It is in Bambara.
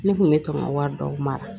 Ne kun bɛ tɔn ka wari dɔw mara